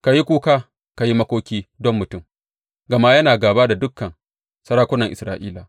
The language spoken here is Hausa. Ka yi kuka ka yi makoki, ɗan mutum, gama yana gāba da dukan sarakunan Isra’ila.